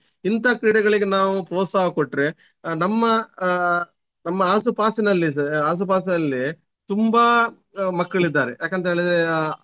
ಇಂತ ಕ್ರೀಡೆಗಳಿಗೆ ನಾವು ಪ್ರೋತ್ಸಾಹ ಕೊಟ್ರೆ ಆಹ್ ನಮ್ಮ ಆಹ್ ನಮ್ಮ ಆಸು ಪಾಸಿನಲ್ಲಿ ಸ~ ಆಸು ಪಾಸಲ್ಲಿಯೇ ತುಂಬಾ ಆಹ್ ಮಕ್ಕಳಿದ್ದಾರೆ ಯಾಕಂತೇಲಿದ್ರೆ.